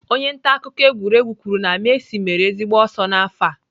Onye nta akụkọ egwuregwu kwuru na Messi mere ezigbo ọsọ n'afọ a